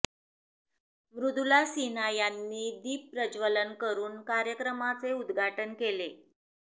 मृदुला सिन्हा यांनी दीपप्रज्वलन करुन कार्यक्रमाचे उद्घाटन केले